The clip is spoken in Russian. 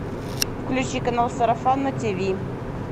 включи канал сарафан на тиви